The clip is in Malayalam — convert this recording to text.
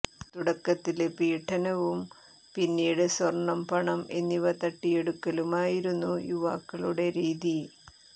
തുടക്കത്തില് പീഡനവും പിന്നീട് സ്വര്ണ്ണം പണം എന്നിവ തട്ടിയെടുക്കലുമായിരുന്നു യുവാക്കളുടെ രീതി